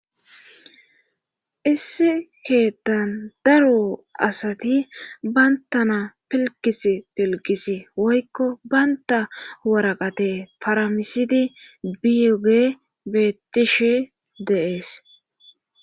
Issi keettan daro asati bayntana pilkis pilkisi woykko baynta waraqate paramisidi biyuge beettishe deees.